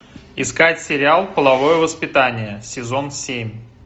искать сериал половое воспитание сезон семь